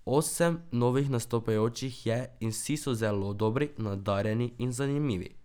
Osem novih nastopajočih je in vsi so zelo dobri, nadarjeni in zanimivi.